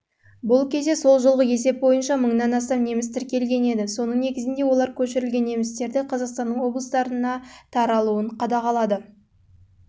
бұл кезде жылғы есеп бойынша неміс тіркелген еді соның негізінде олар көшірілген немістерді қазақстанның облыстарына таралуын